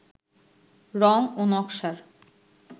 রং ও নকশার